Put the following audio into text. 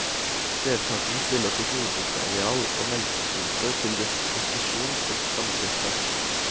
Deltakerne stiller sitt jordbruksareal og melkekvote til disposisjon for samdrifta.